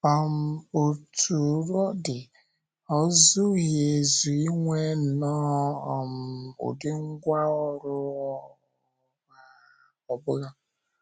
um Otú ọ dị, o zughị ezu inwe nnọọ um ụdị ngwá ọrụ ọ um bụla.